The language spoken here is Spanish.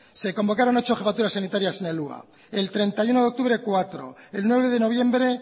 se convocaron ocho jefaturas sanitarias en el hua el treinta y uno de octubre cuatro el nueve de noviembre